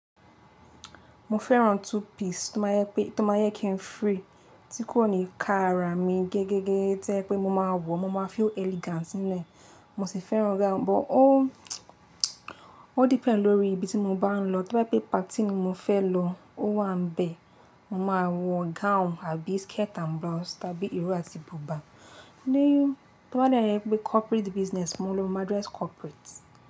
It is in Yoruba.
Mo fẹ́ran two piece tó máa ń yẹ pé, tó máa ń jẹ kí n free, tí kò ní ka ara mi gẹ́gẹ́ gẹ́gẹ́ to ye pé mo máa wọ, mo máa feel elegant nínú ẹ̀. Mo sì fẹ́ran gown, but ó, ó depend lórí ibi tí mo bá ń lọ. Tí bá yẹ pé party mi mo fẹ́ lọ, ó wà nbẹ̀, mo máa wọ gown àbí skirt and blouse, tàbí iro àti buba. Níyo, to ba de je pé corporate business, mo lọ mo maa dress corporate.